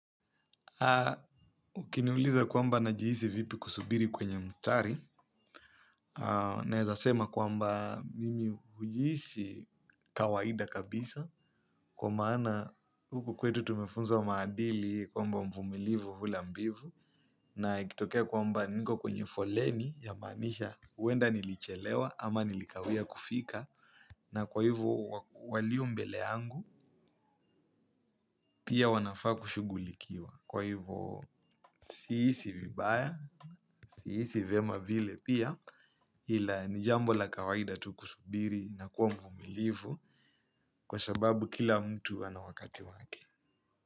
Ukiniuliza kwamba najihisi vipi kusubiri kwenye mstari. Naezasema kwamba mimi ujihisi kawaida kabisa. Kwa maana huku kwetu tumefunzwa maadili kwamba mpumilivu hula mbivu. Na ikitokea kwamba niko kwenye foleni ya maanisha wenda nilichelewa ama nilikawia kufika. Na kwa hivo walio mbele yangu pia wanafaa kushugulikiwa. Kwa hivo siisi vibaya, siisi vyema vile pia. Hila ni jambo la kawaida tukusubiri na kuwa mvumilivu. Kwa sababu kila mtu ana wakati wake.